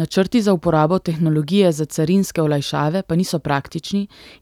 Načrti za uporabo tehnologije za carinske olajšave pa niso praktični